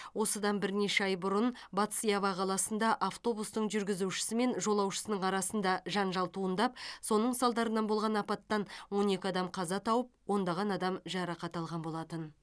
осыдан бірнеше ай бұрын батыс ява қаласында автобустың жүргізушісі мен жолаушысының арасында жанжал туындап соның салдарынан болған апаттан он екі адам қаза тауып ондаған адам жарақат алған болатын